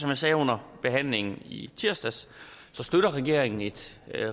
jeg sagde under behandlingen i tirsdags støtter regeringen et